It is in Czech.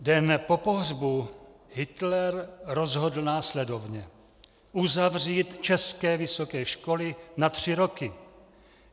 Den po pohřbu Hitler rozhodl následovně: Uzavřít české vysoké školy na tři roky.